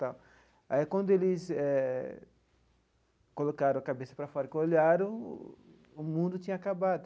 Aí quando eh eles colocaram a cabeça para fora e que olharam, o mundo tinha acabado.